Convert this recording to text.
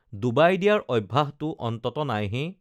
Dubai দিয়াৰ অভ্যাসটো অন্তত নাইহে